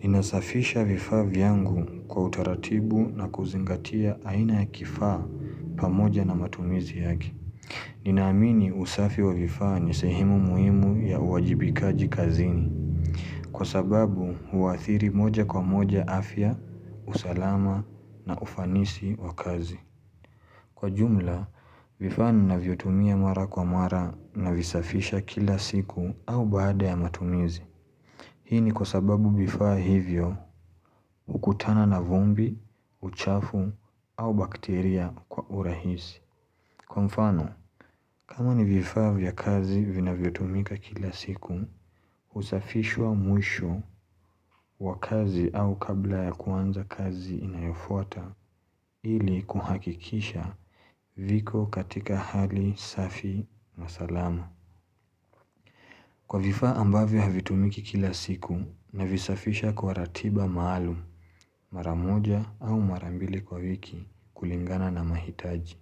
Ninasafisha vifaa vyangu kwa utaratibu na kuzingatia aina ya kifaa pamoja na matumizi yake. Ninaamini usafi wa vifaa nisehemu muhimu ya uwajibikaji kazini. Kwa sababu huathiri moja kwa moja afya, usalama na ufanisi wa kazi. Kwa ujumla, vifaa ninavyotumia mara kwa mara na visafisha kila siku au baada ya matumizi. Hii ni kwa sababu vifaa hivyo hukutana na vumbi, uchafu au bakteria kwa urahisi. Kwa mfano, kama ni vifaa vya kazi vinavyo tumika kila siku, usafishwa mwisho wa kazi au kabla ya kuanza kazi inayofuata ili kuhakikisha viko katika hali safi na salama. Kwa vifaa ambavyo havitumiki kila siku navisafisha kwa ratiba maalumu maramoja au marambili kwa wiki kulingana na mahitaji.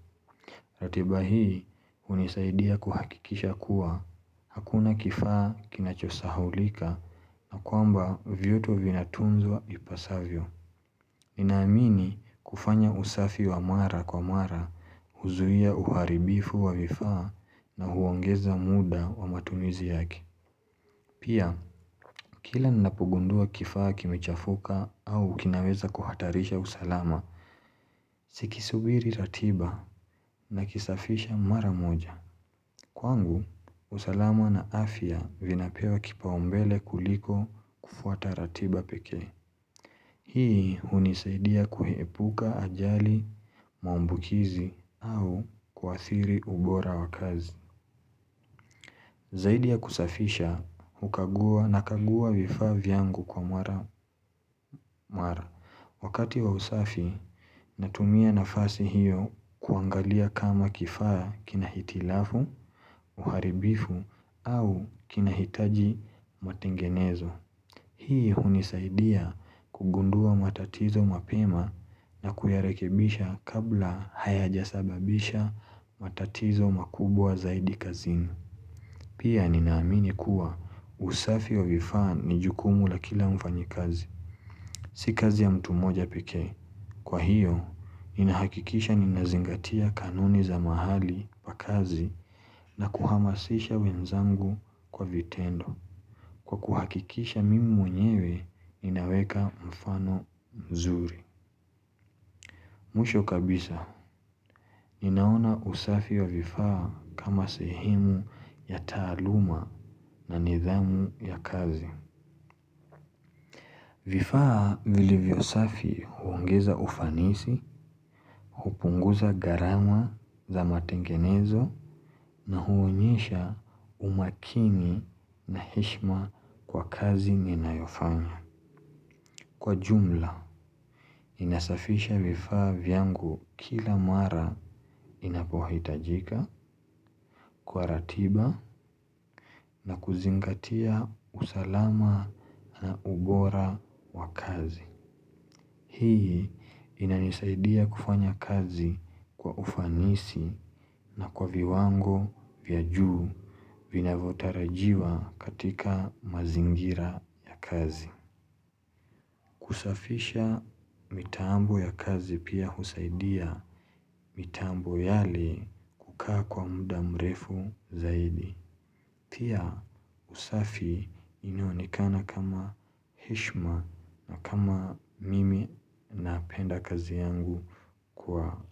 Ratiba hii unisaidia kuhakikisha kuwa hakuna kifaa kinachosahaulika na kwamba vyote vinatunzwa ipasavyo. Ninaamini kufanya usafi wa mara kwa mara huzuia uharibifu wa vifaa na huongeza muda wa matumizi yake. Pia, kila ninapogundua kifaa kimechafuka au kinaweza kuhatarisha usalama, sikisubiri ratiba na kisafisha mara moja. Kwangu, usalama na afya vinapewa kipaombele kuliko kufuata ratiba pekee. Hii unisaidia kuepuka ajali, maambukizi au kuathiri ubora wakazi. Zaidi ya kusafisha, hukagua na kagua vifaa vyangu kwa mara. Wakati wa usafi, natumia na fasi hiyo kuangalia kama kifaa kinahitilafu, uharibifu au kinahitaji matengenezo. Hii hunisaidia kugundua matatizo mapema na kuyarekebisha kabla hayajasababisha matatizo makubwa zaidi kazini. Pia ninaamini kuwa usafi wa vifaa ni jukumu la kila mfanyi kazi. Si kazi ya mtu moja pekee. Kwa hiyo, ninahakikisha ninazingatia kanuni za mahali pa kazi na kuhamasisha wenzangu kwa vitendo. Kwa kuhakikisha mimi mwenyewe, ninaweka mfano mzuri. Mwisho kabisa, ninaona usafi wa vifaa kama sehemu ya taaluma na nidhamu ya kazi. Vifaa vilivyo safi huongeza ufanisi, hupunguza gharama za matengenezo na huonyesha umakini na heshima kwa kazi nina yofanya. Kwa jumla, ninasafisha vifaa vyangu kila mara inapohitajika kwa ratiba na kuzingatia usalama na ubora wa kazi. Hii inanisaidia kufanya kazi kwa ufanisi na kwa viwango vya juu vinavyotarajiwa katika mazingira ya kazi. Kusafisha mitambo ya kazi pia husaidia mitambo yali kukaa kwa muda mrefu zaidi. Pia usafi inaonekana kama heshima na kama mimi ninapenda kazi yangu kwa.